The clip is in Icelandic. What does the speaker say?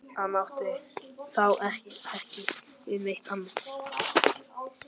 Hann átti þá ekki við neitt annað.